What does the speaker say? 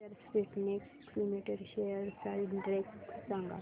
अक्षर Spintex limited shares चा index सांगा